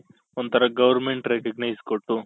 ಒಂಥರಾ government recognize ಕೊಟ್ಟು